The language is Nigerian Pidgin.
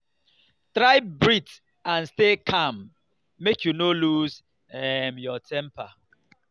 try breath and stay calm make you no loose um your temper